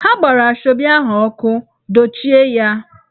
Ha gbara Asoebi ahụ ọkụ, dochie ya!